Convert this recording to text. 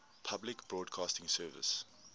public broadcasting service